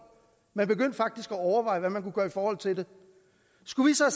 man begyndte faktisk at overveje hvad man kunne gøre i forhold til det skulle vi så